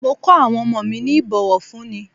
Mo ko awon omo mi ni ibowofunni.